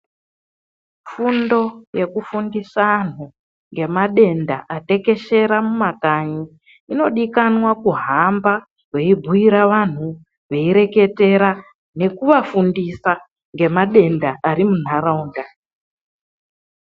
Fundo yekufundisa anhu ngemadenda atekeshera mumakanyi inodikanwa kuhamba weibhuira vanhu weireketera nekuvafundisa ngemadenda ari munharaunda.